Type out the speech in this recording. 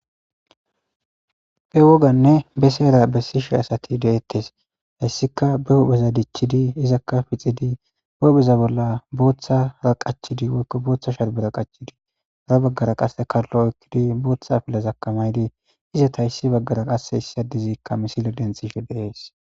he woganne be seera bessishi asati deettes hessika be hohpheza dichchidi izakka pixidi behuheza bolla booththa ra qachidi woykko booththa sharbera qachidii ra baggara qase kallo okkidi booththa pillazakamaydi izata yssi baggara qasse issi adizikka misile denthishe deees